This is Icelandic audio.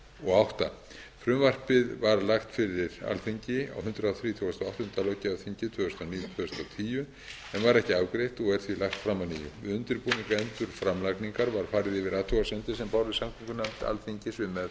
og átta frumvarpið var lagt fyrir alþingi á hundrað þrítugasta og áttunda löggjafarþingi tvö þúsund og níu tvö þúsund og tíu en var ekki afgreitt og er því lagt fram að nýju við undirbúning endurframlagningar var farið yfir athugasemdir sem bárust samgöngunefnd alþingis um meðferð málsins